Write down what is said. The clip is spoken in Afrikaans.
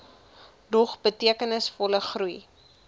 dog betekenisvolle groei